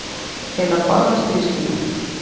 Til að forðast misskilning